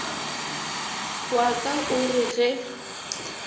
wa ka o re ge